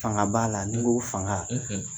Fanga b'a la ni n k'o fanga